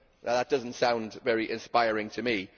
That does not sound very inspiring to me.